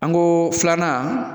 An go filanan